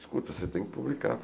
Escuta, você tem que publicar.